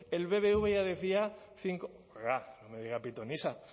el bbva ya decía cinco oiga no me diga pitonisa